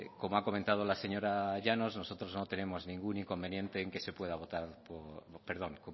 como ha